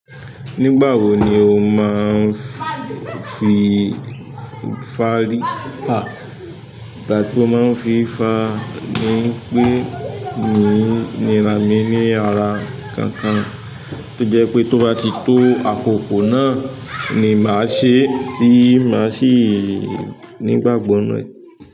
Nígbà wo ni o má ń fi fari? Ìgbà tí ó máa ń fi fà ni pé mi ni rami ní ara kankan. Ó jẹ́ pé tó bá ti tó àkókò náà ni màá sẹ tí màá sì nígbàgbọ́ nínú ẹ.